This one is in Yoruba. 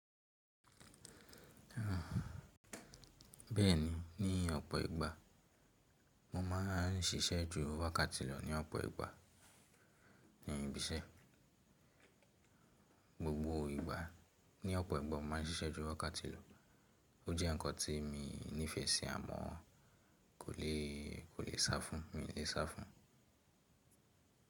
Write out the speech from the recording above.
Bẹ́ẹ̀ni, ní ọ̀pọ̀ ìgbà mo máa ń ṣiṣẹ́ ju wákàtí lọ ní ọ̀pọ̀ ìgbà ní ibi iṣẹ́. Gbogbo ìgbà ní ọ̀pọ̀ ìgbà mo máa ń ṣiṣẹ́ ju wákàtí lọ. Ó jẹ́ ǹkan tí mo nífẹsí à mọ́, kó lè, kò lè sá fún, mi ò lè sá fún.